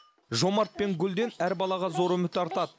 жомарт пен гүлден әр балаға зор үміт артады